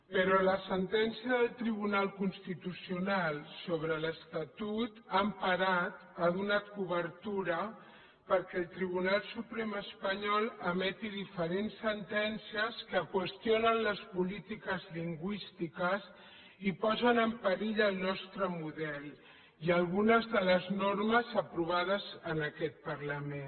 però la sentència del tribunal constitucional sobre l’estatut ha emparat ha donat cobertura perquè el tribunal suprem espanyol emeti diferents sentències que qüestionen les polítiques lingüístiques i posen en perill el nostre model i algunes de les normes aprovades en aquest parlament